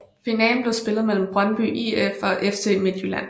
Finalen blev spillet mellem Brøndby IF og FC Midtjylland